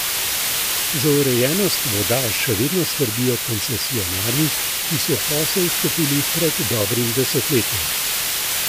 Za urejenost voda še vedno skrbijo koncesionarji, ki so v posel vstopili pred dobrim desetletjem.